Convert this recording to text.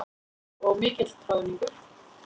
Og mikill troðningur.